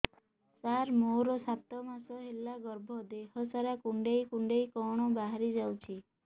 ସାର ମୋର ସାତ ମାସ ହେଲା ଗର୍ଭ ଦେହ ସାରା କୁଂଡେଇ କୁଂଡେଇ କଣ ବାହାରି ଯାଉଛି